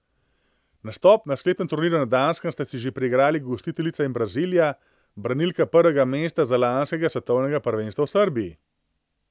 Nastop na sklepnem turnirja na Danskem sta si že priigrali gostiteljica in Brazilija, branilka prvega mesta z lanskega svetovnega prvenstva v Srbiji.